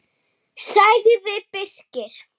sagði Birkir.